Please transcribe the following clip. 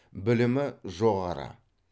білімі жоғары